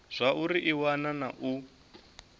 zwauri i wana na u